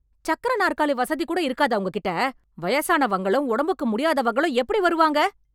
சக்கர நாற்காலி வசதி கூட இருக்காதா உங்க கிட்ட? வயசானவங்களும் உடம்புக்கு முடியாதவங்களும் எப்படி வருவாங்க?